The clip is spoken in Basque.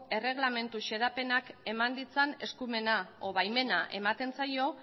erregelamendu xedapenak eman ditzan eskumena edo baimena ematen zaio